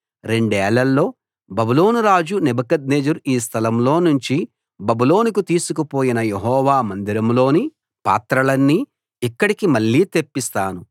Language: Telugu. రెండేళ్లలో బబులోను రాజు నెబుకద్నెజరు ఈ స్థలంలో నుంచి బబులోనుకు తీసుకుపోయిన యెహోవా మందిరంలోని పాత్రలన్నీ ఇక్కడికి మళ్ళీ తెప్పిస్తాను